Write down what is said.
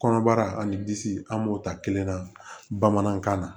Kɔnɔbara ani disi an b'o ta kelen na bamanankan na